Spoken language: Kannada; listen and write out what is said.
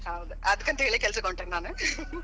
ಹೌದ್ ಅದಕ್ಕಂತೇಳಿ ಕೆಲಸಕ್ ಹೊಂಟೇನಿ ನಾನ್ .